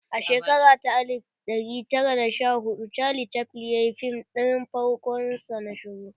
A shekara ta alif ɗari tara da sha hudu Charlie Chaflin ya yi fim ɗin farkon sa na shiru